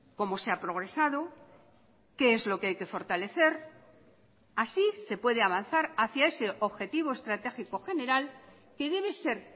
cómo se ha progresado qué es lo que hay que fortalecer así se puede avanzar hacia ese objetivo estratégico general que debe ser